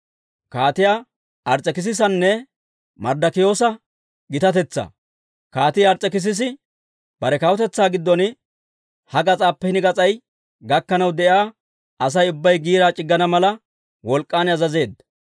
Kaatii Ars's'ekissisi bare kawutetsaa giddon ha gas'aappe hini gas'ay gakkanaw de'iyaa Asay ubbay giiraa c'iggana mala, wolk'k'an azazeedda.